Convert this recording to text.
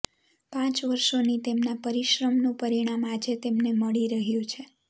પાંચ વર્ષોની તેમના પરીશ્રમનું પરીણામ આજે તેમને મળી રહ્યું છે